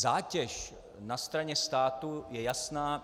Zátěž na straně státu je jasná.